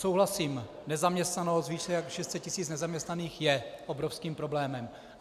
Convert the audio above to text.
Souhlasím, nezaměstnanost, více než 600 tis. nezaměstnaných, je obrovským problémem.